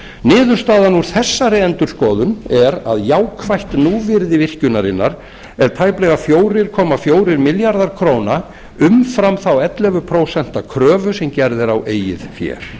niðurstaðan úr þessari endurskoðun er að jákvætt núvirði virkjunarinnar er tæplega fjögur komma fjórir milljarðar króna umfram þá ellefu prósent kröfu sem gerð er á eigin fé